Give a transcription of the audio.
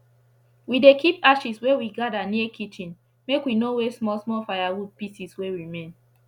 we dey keep ashes wey we gather near kitchen make we no waste small small firewood pieces wey remain